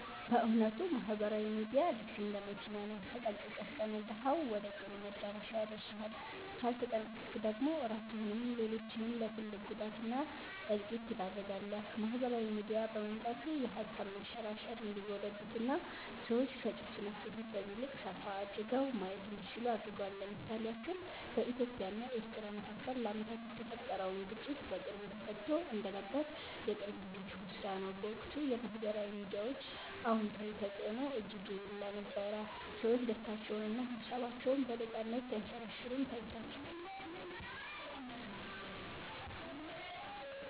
በ እዉነቱ ማህበራዊ ሚዲያ ልክ እንደ መኪና ነው፤ ተጠንቅቀህ ከነዳኀው ወደ ጥሩ መዳረሻ ያደርስሃል ካልተጠነቅቀክ ደግሞ ራስህንም ሌሎችንም ለ ትልቅ ጉዳት እና እልቂት ትዳርጋለህ። ማህበራዊ ሚዲያ በመምጣቱ የሃሳብ መንሸራሸር እንዲጎለብትና ሰዎች ከ ጭፍን አስተሳሰብ ይልቅ ሰፋ አድርገው ማየት እንዲችሉ አድርጓል። ለ ምሳሌ ያክል በኢትዮጵያ እና ኤርትራ መካከል ለአመታት የተፈጠረውን ግጭት በቅርቡ ተፈትቶ እንደነበር የቅርብ ጊዜ ትውስታ ነው። በወቅቱ የ ማህበራዊ ሚዲያ አወንታዊ ተፅዕኖ እጅግ የጎላ ነበር፤ ሰዎች ደስታቸውንና ሃሳባቸውን በነፃነት ሲያንሸራሽሩም ታይቷል።